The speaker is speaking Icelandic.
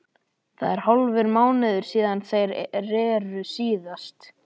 Það er hálfur mánuður síðan þeir reru síðast.